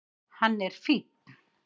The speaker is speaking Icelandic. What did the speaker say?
Hann er fínn.